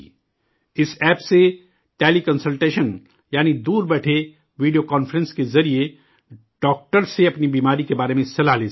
اس app سے teleconsultation, یعنی دور بیٹھے، ویڈیو کانفرنس کے ذریعے ڈاکٹر سے، اپنی بیماری کے بارے میں صلاح کر سکتے ہیں